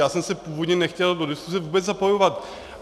Já jsem se původně nechtěl do diskuse vůbec zapojovat.